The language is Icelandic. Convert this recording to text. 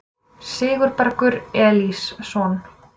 Sigurbergur Elísson